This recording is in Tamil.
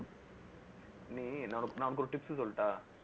நீ நான் நான் உனக்கு ஒரு tips சொல்லட்டா